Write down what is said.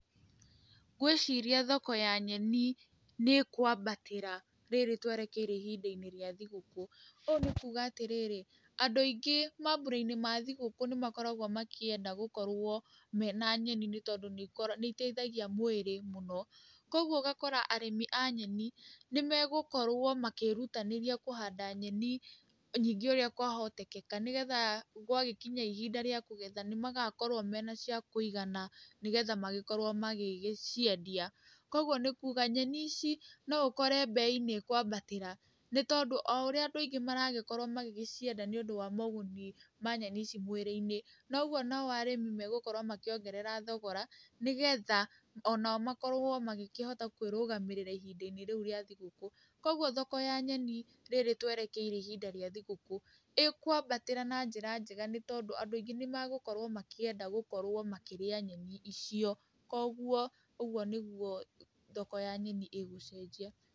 Ngwĩciria thoko ya nyeni nĩ ĩkwambatĩra rĩrĩ twerekeire ihinda-inĩ rĩa thigũkũ. Ũũ nĩ kuga atĩrĩrĩ, andũ aingĩ mambũra-inĩ ma thigũkũ nĩmakoragwo makĩenda gũkorwo mena nyeni nĩ tondũ nĩiteithagia mwĩrĩ mũno, kuoguo ũgakora arĩmi a nyeni nĩmegũkorwo makĩrutanĩria kũhanda nyeni nyingĩ ũrĩa kwahotekeka nĩgetha gwa gĩkinya ihinda rĩa kũgetha, nĩmagakorwo mena cia kũigana nĩgetha magĩkorwo magĩgĩciendia, kuoguo nĩ kuga nyeni ici no ũkore mbei nĩ ĩkwambatĩra nĩtondũ, o ũrĩa andũ aingĩ maragĩkorwo magĩgĩcienda nĩũndũ wa moguni ma nyeni ici mwĩrĩ-inĩ, noguo nao arĩmi megũkorwo makĩongerera thogora nĩgetha onao makorwo magĩkĩhota kwĩrũgamĩrĩra ihinda-inĩ rĩu rĩa thigũkũ, kuoguo thoko ya nyeni rĩrĩ twerekeire ihinda rĩa thigũkũ ĩkwambatĩra na njĩra njega nĩ tondũ andũ aingĩ nĩmagũkorwo makĩenda gũkorwo makírĩa nyeni icio, kuoguo ũgũo nĩguo thoko ya nyeni ĩgũcenjia.